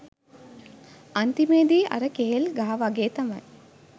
අන්තිමේදි අර කෙහෙල් ගහ වගේ තමයි